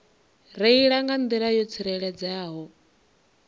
reila nga nḓila yo tsireledzeaho